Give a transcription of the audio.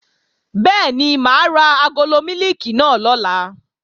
Bẹ́ẹ̀ni, mà á ra agolo mílìkì náà lọ̀la